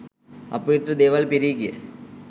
අපවිත්‍ර දේවල් පිරී ගිය